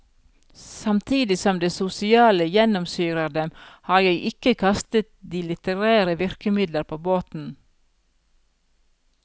Samtidig som det sosiale gjennomsyrer dem, har jeg ikke kastet de litterære virkemidler på båten.